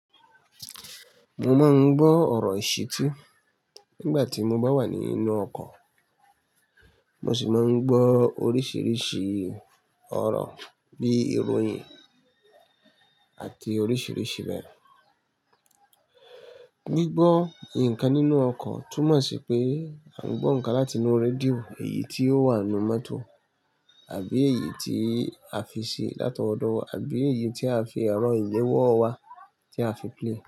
Mo máa ń gbọ́ ọ̀rọ̀ ìṣìtí nígbà tí mo bá wà nínú ọkọ̀. Mo ṣì máa ń gbọ́ oríṣiríṣi ọ̀rọ̀ bí ìròyìn àti oríṣiríṣi bẹ́ẹ̀. Gbígbọ́ ǹkan nínú ọkọ̀ túmọ̀ sí pé a ń gbọ́ ǹkan láti inú rédíò, èyí tí ó wà nínú mọ́tò àbí èyí tí a fi ṣe látọwọ́dọ́wọ́ wa àbí èyí tí a fi ẹ̀rọ ìléwọ́ wa tí a fi play.